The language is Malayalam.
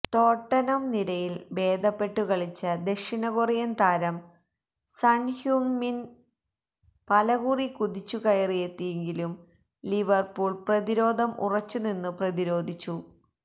ടോട്ടനം നിരയിൽ ഭേദപ്പെട്ടു കളിച്ച ദക്ഷിണകൊറിയൻ താരം സൺ ഹ്യൂങ് മിൻ പലകുറി കുതിച്ചുകയറിയെത്തിയെങ്കിലും ലിവർപൂൾ പ്രതിരോധം ഉറച്ചുനിന്നു പ്രതിരോധിച്ചു